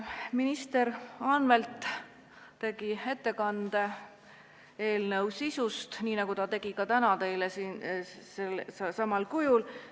Minister Anvelt tegi ettekande eelnõu sisu kohta, nii nagu ta tegi selle teile ka täna siin selsamal kujul.